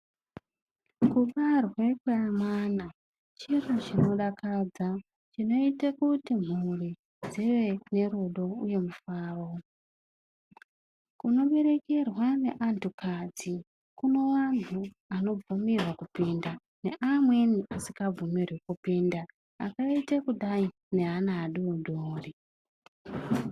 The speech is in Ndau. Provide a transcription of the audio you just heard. Kubarwe kwemwana chiro chinodakadza. Chinoite kuti mhuri dzive nerudo uye mufaro. Kunoberekerwa neanthukadzi, kune vanthu vanobvumirwe kupinda neamweni asikabvumirwi kupinda, akaite kudai ngeana adodori.